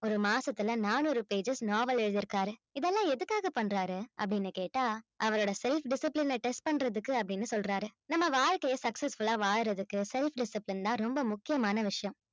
ஒரு மாசத்துல நானூறு pages நாவல் எழுதி இருக்காரு இதெல்லாம் எதுக்காக பண்றாரு அப்படின்னு கேட்டா அவரோட self discipline அ test பண்றதுக்கு அப்படின்னு சொல்றாரு நம்ம வாழ்க்கையை successful ஆ வாழுறதுக்கு self discipline தான் ரொம்ப முக்கியமான விஷயம்